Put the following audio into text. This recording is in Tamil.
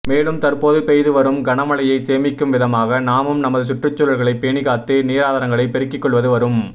மேலும் தற்போது பெய்து வரும் கன மழையை சேமிக்கும் விதமாக நாமும் நமது சுற்றுச்சூழல்லை பேனிகாத்து நீராதரங்களை பெருக்கிக்கொள்வது வரும்